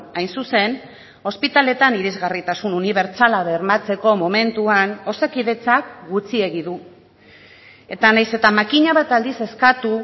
hain zuzen ospitaleetan irisgarritasun unibertsala bermatzeko momentuan osakidetzak gutxiegi du eta nahiz eta makina bat aldiz eskatu